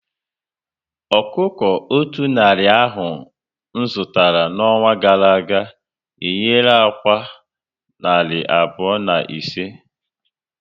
Ọkụkọ o otú narị ahụ zụtara n'ọnwa gara aga, ehiera ákwá narị abụọ na ise